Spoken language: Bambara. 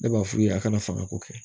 Ne b'a f'u ye a kana fanga ko kɛ